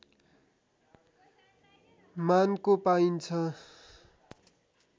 मानको पाइन्छ